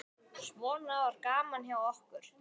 Svona var gaman hjá okkur.